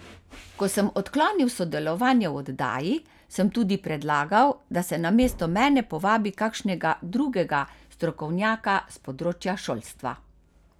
Ko sem odklonil sodelovanje v oddaji, sem tudi predlagal, da se namesto mene povabi kakšnega drugega strokovnjaka s področja šolstva.